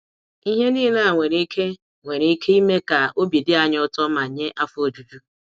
Ihe niile a nwere ike nwere ike ime ka obi dị anyị ụtọ ma nye afọ ojuju.